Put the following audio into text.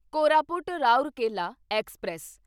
Koraput Rourkela express